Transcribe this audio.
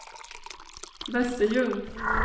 Västerljung